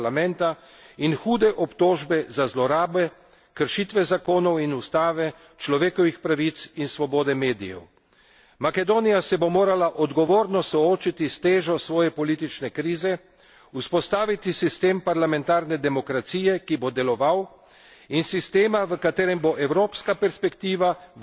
Ta kriza pa povzroča tudi obstrukcijo nacionalnega parlamenta in hude obtožbe za zlorabe, kršitve zakonov in ustave, človekovih pravic in svobode medijev. Makedonija se bo morala odgovorno soočiti s težo svoje politične krize, vzpostaviti sistem parlamentarne demokracije, ki bo deloval,